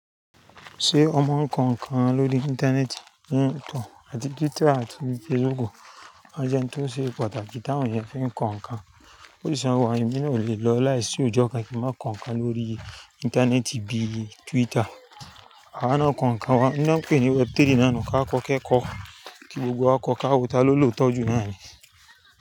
Ṣé ọ mọ ń kọ̀ nkàn lórí íńtánẹ́ẹ̀tì, iyen ìtàn àti Twitter àti Facebook? A jẹ́ hun tó ṣe pàtàkì táawon yẹn fi n kọ̀ nkàn. Ó sì sọ wá ẹ̀mí náà ò le lọ láìsí òjọ́ kan kí má kọ̀nkàn lórí íńtánẹ́ẹ̀tì bíi Twitter. A á ná kọ̀nkàn wa, iná pé ni web3 ná nù ká kọ́kẹ́ kọ́ kí gbogbo wa kọ́ káwo ta ló lòótọ́ jù náà ni.